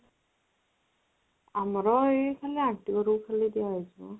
ଆମର ଏଇ ଖାଲି aunty ଘରକୁ ଖାଲି ଦିଆହେଇଚି ମ